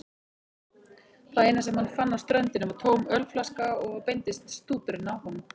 Það eina sem hann fann á ströndinni var tóm ölflaska og beindist stúturinn að honum.